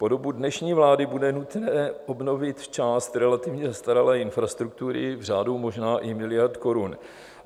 Po dobu dnešní vlády bude nutné obnovit část relativně zastaralé infrastruktury v řádu možná i miliard korun.